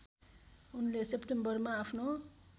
उनले सेप्टेम्बरमा आफ्नो